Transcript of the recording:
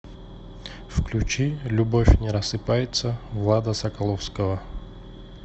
включи любовь не рассыпается влада соколовского